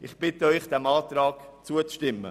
Ich bitte Sie, diesem Antrag zuzustimmen.